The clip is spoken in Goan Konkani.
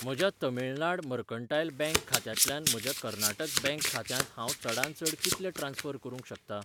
म्हज्या तमिळनाड मर्कंटायल बँक खात्यांतल्यान म्हज्या कर्नाटक बँक खात्यांत हांव चडांत चड कितले ट्रान्स्फर करूंक शकतां?